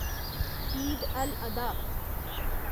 ईद अल आधा